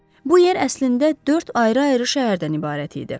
Bu yer əslində dörd ayrı-ayrı şəhərdən ibarət idi.